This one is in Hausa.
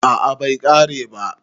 a a bai kare ba